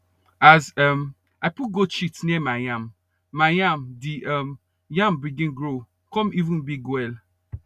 as um i put goat shit near my yam my yam the um yam begin grow cum even big well